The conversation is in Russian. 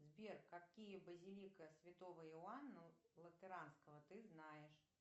сбер какие базилика святого иоанна латеранского ты знаешь